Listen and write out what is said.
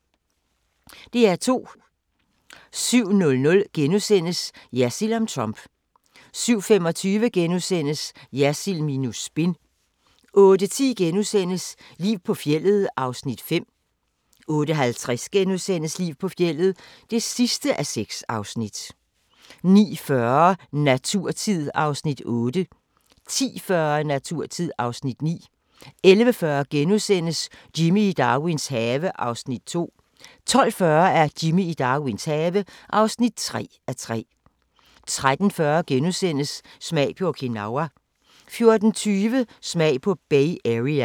DR2